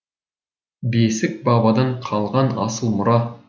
бесік бабадан қалған асыл мұра